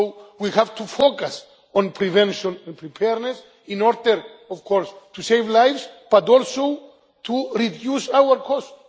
We have to focus on prevention and preparedness in order, of course, to save lives, but also to reduce our costs.